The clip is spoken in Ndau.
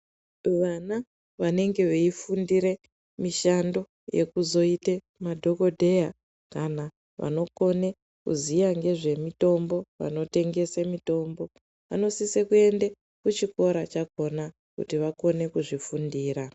Vana vanenge veyifundire mishando yekuzoite madhogodheya kana vanokone kuziya ngezve mitombo vanotengese mitombo vanosise kuende kuchikora chakona kuti vakone kuzvifundira.